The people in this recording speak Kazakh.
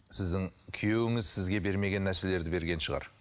сіздің күйеуіңіз сізге бермеген нәрселерді берген шығар